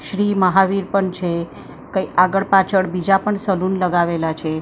શ્રી મહાવીર પણ છે કઈ આગળ પાછળ બીજા પણ શગુન લગાવેલા છે--